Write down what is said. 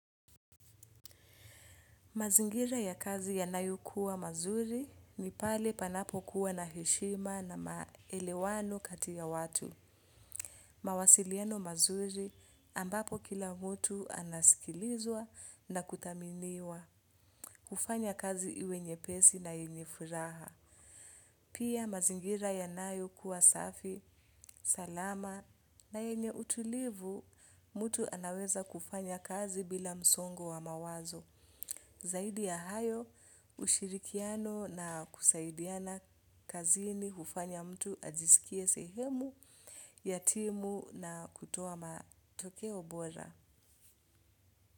Mazingira ya kazi yanayo kuwa mazuri ni pale panapo kuwa na heshima na maelewano katia ya watu. Mawasiliano mazuri ambapo kila mtu anasikilizwa na kuthaminiwa hufanya kazi iwe nyepesi na yenye furaha. Pia mazingira yanayo kuwa safi, salama na yenye utulivu mtu anaweza kufanya kazi bila msongo wa mawazo. Zaidi ya hayo, ushirikiano na kusaidiana kazini hufanya mtu ajisikie sehemu, ya timu na kutoa matokeo bora.